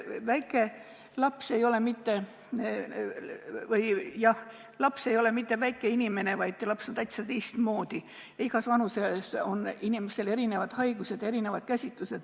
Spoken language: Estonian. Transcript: Väike laps ei ole mitte väike inimene, vaid ta on täitsa teistmoodi, selles mõttes, et igas vanuses on inimesel erinevad haigused ja neid tuleb erinevalt käsitada.